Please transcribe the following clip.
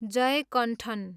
Jayakanthan